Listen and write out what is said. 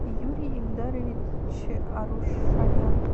юрий ильдарович арушанян